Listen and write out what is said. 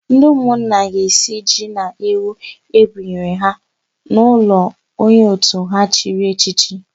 Ndị ụmụnna ga-esi ji na ewu ebụnyere ha n'ụlọ onye òtù ha chiri echichi.